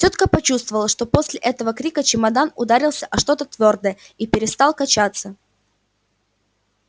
тётка почувствовала что после этого крика чемодан ударился о что-то твёрдое и перестал качаться